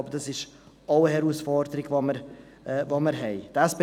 Ich glaube, dass dies eine Herausforderung ist, die wir auch haben.